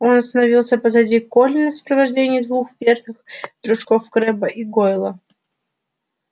он остановился позади колина в сопровождении двух верных дружков крэбба и гойла